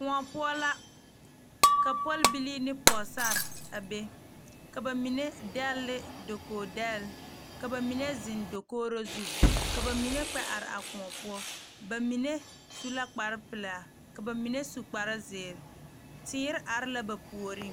Kõɔ poɔ la ka pɔlbile ne pɔgesera a be ka bamine degle ne dakogi degle ka bamine zeŋ dakogro zu ka bamine kpɛ are a kõɔ poɔ bamine su la kpare pelaa ka bamine su kpare ziiri teere are la ba puori.